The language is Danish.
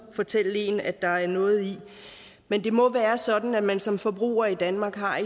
fortælle en at der er noget i det men det må være sådan at man som forbruger i danmark har